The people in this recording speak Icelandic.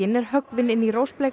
er höggvin inn í